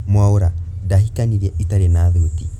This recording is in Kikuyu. Mwaura: Ndahikanirie itari na thuti